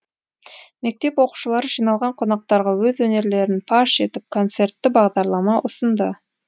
мектеп оқушылары жиналған қонақтарға өз өнерлерін паш етіп концертті бағдарлама ұсынды